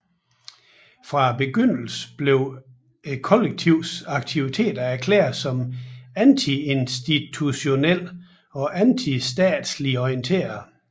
Fra begyndelsen blev kollektivets aktiviteter erklæret som antiinstitutionelt og antistatsligt orienteret